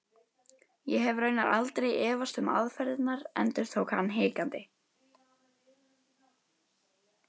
Ég hef raunar aldrei efast um aðferðirnar endurtók hann hikandi.